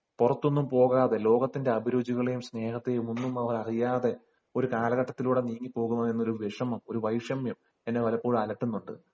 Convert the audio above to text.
പുറത്തൊന്നും പോവാതെ ലോകത്തിന്റെ അഭിരുചികളെയും സ്നേഹത്തെയും ഒന്നും അവർ അറിയാതെ ഒരു കാലഘട്ടത്തിലൂടെ നീങ്ങി പോവുന്നു എന്ന ഒരു വിഷമം വൈഷമ്യം എന്നെ പലപ്പോഴും അലട്ടുന്നുണ്ട്